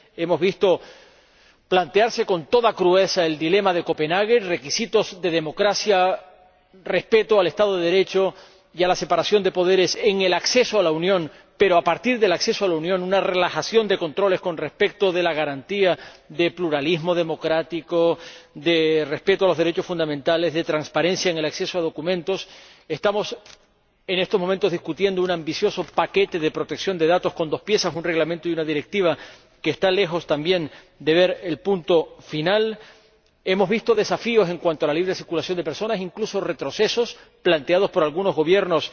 hemos visto plantearse con toda crudeza el dilema de Copenhague, requisitos de democracia, respeto del Estado de Derecho y de la separación de poderes en el acceso a la Unión, pero, a partir del acceso a la Unión, una relajación de controles con respecto a la garantía de pluralismo democrático, de respeto de los derechos fundamentales, de transparencia en el acceso a los documentos. Estamos, en estos momentos, debatiendo un ambicioso paquete de protección de datos con dos piezas ―un reglamento y una directiva― que está lejos, también, de ver el punto final. Hemos visto desafíos en cuanto a la libre circulación de personas, incluso retrocesos planteados por algunos gobiernos